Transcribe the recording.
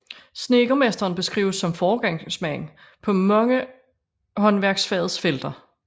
Snedkermesteren beskrives som foregangsmand på mange håndværkerfagets felter